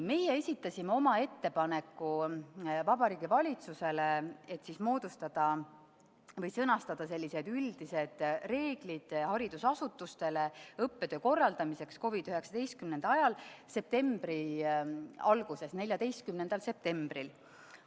Meie esitasime oma ettepaneku Vabariigi Valitsusele, et sõnastada üldised reeglid haridusasutustele õppetöö korraldamiseks COVID-19 ajal, septembri alguses, 14. septembril.